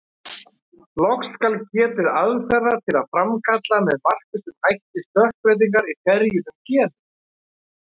Loks skal getið aðferða til að framkalla með markvissum hætti stökkbreytingar í ferjuðum genum.